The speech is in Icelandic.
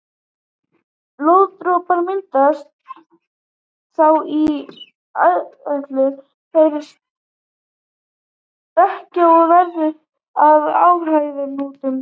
Blóðpollar myndast þá í æðunum, þær stækka og verða að æðahnútum.